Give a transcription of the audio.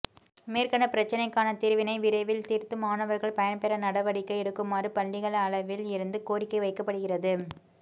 மேற்கண்ட பிரச்சினைக்கான தீர்வினை விரைவில் தீர்த்து மாணவர்கள் பயன்பெற நடவடிக்கை எடுக்குமாறு பள்ளிகள் அளவில் இருந்து கோரிக்கை வைக்கப்படுகிறது